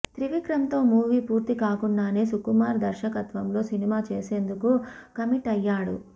త్రివిక్రమ్ తో మూవీ పూర్తి కాకుండానే సుకుమార్ దర్శకత్వంలో సినిమా చేసేందుకు కమిట్ అయ్యాడు